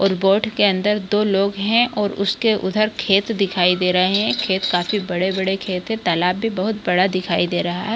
और बोट के अंदर दो लोग है और उसके उधर खेत दिखाई दे रहे है खेत काफी बड़े-बड़े खेत है तालाब भी बहुत बड़ा दिखाई दे रहा है।